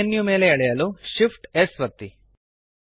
snap menu ಮೇಲೆ ಎಳೆಯಲು Shift amp S ಒತ್ತಿ